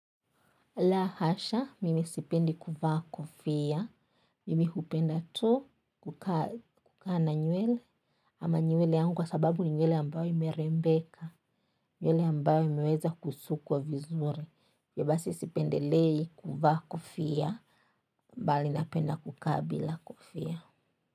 La hasha, mimi sipendi kuvaa kofia, mimi kupenda tu kukaa na nywele, ama nywele yangu kwa sababu ni nywele ambayo ime rembeka, nywele ambayo imeweza kusukwa vizuri. Hivyo basi sipendelei kuvaa kofia, mbali napenda kukaa bila kofia.